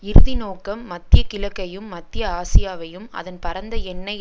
இறுதி நோக்கம் மத்திய கிழக்கையும் மத்திய ஆசியாவையும் அதன் பரந்த எண்ணெய்